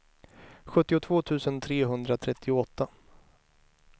sjuttiotvå tusen trehundratrettioåtta